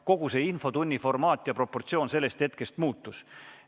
Kogu infotunni formaat ja proportsioonid sellest hetkest muutusid.